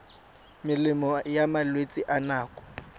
melemo ya malwetse a nako